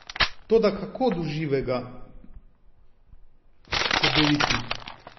Toda kako do živega Cedeviti?